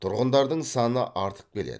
тұрғындардың саны артып келеді